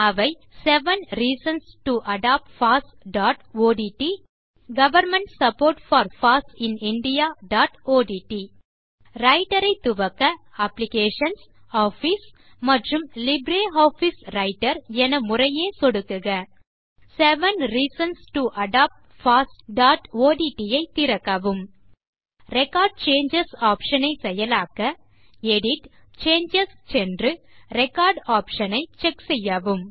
அவை seven reasons to adopt fossஒட்ட் government support for foss in indiaஒட்ட் ரெக்கார்ட் சேஞ்சஸ் ஆப்ஷன் ஐ செயலாக்க எடிட் → சேஞ்சஸ் சென்று ரெக்கார்ட் ஆப்ஷன் ஐ checkசெய்யவும்